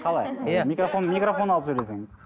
қалай иә микрофон микрофон алып сөйлесеңіз